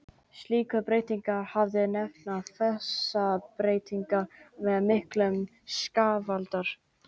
Slíkar breytingar hafa verið nefndar fasabreytingar og eru miklir skaðvaldar.